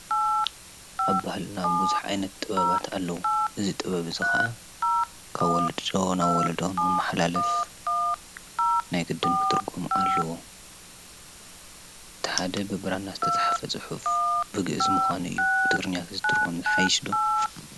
ኣብ ባህልና ብዙሕ ዓይነት ጥበባት ኣለዉ ።እዚ ጥበብ እዚ ኸኣ ካብ ወለዲ ናብ ወለዶ ንኽመሓላለፍ ናይ ግድን ክትርጐም ኣለዎ። ትሓደ ብብራና ዝተፅሓፈ ፅሑፍ ብግእዝ ምኳኑ እዩ። ብትግርኛ ተዝትርጎም ይሓይሽ ዶ?